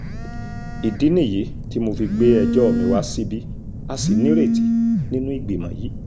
ìdí nìyí tí mo fi gbé ẹjọ́ mi wá síbí a sì nírètí nínú ìgbìmọ̀ yìí